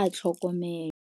a tlhokomelwa.